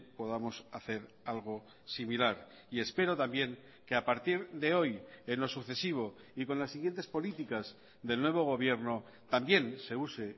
podamos hacer algo similar y y espero también que a partir de hoy en lo sucesivo y con las siguientes políticas del nuevo gobierno también se use